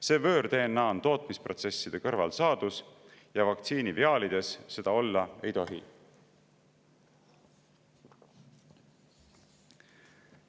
See võõr-DNA on tootmisprotsesside kõrvalsaadus ja vaktsiiniviaalides seda olla ei tohi.